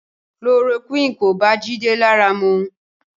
Chloroquine kò bá Jide lára mu